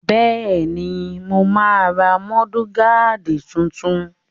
Bẹ́ẹ̀ni, mo máa ra múdúgáàdì tuntun